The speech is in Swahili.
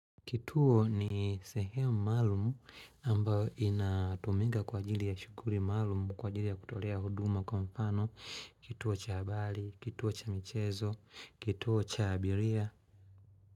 Kituo ni sehemu maalumu ambayo inatumika kwa ajili ya shukuri maalamu kwa ajili ya kutolea huduma kwa mfano, kituo cha abali, kituo cha michezo, kituo cha abiria.